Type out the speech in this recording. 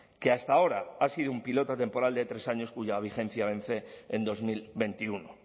que hasta ahora ha sido un piloto temporal de tres años cuya vigencia vence en dos mil veintiuno